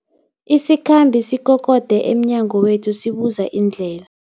Isikhambi sikokode emnyango wethu sibuza indlela.